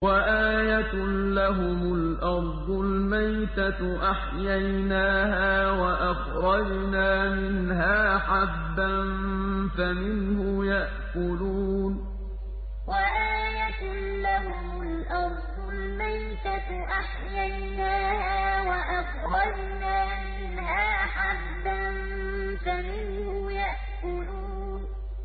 وَآيَةٌ لَّهُمُ الْأَرْضُ الْمَيْتَةُ أَحْيَيْنَاهَا وَأَخْرَجْنَا مِنْهَا حَبًّا فَمِنْهُ يَأْكُلُونَ وَآيَةٌ لَّهُمُ الْأَرْضُ الْمَيْتَةُ أَحْيَيْنَاهَا وَأَخْرَجْنَا مِنْهَا حَبًّا فَمِنْهُ يَأْكُلُونَ